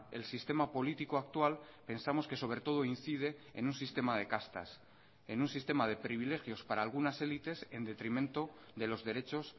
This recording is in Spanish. el sistema político actual pensamos que sobre todo incide en un sistema de castas en un sistema de privilegios para algunas élites en detrimento de los derechos